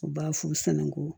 U b'a f'u sana ko